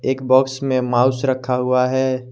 एक बाक्स में माऊस रखा हुआ है।